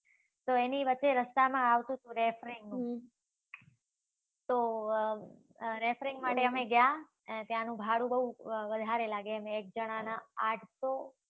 તો એની વચ્ચે રસ્તામાં આવતુ હતું રેફરીંગ. તો અમ રેફરીંગ માટે અમે ગ્યા. અને ત્યાનું ભાડું બવ વધારે લાગે એમ. એક જણા ના આઠસો.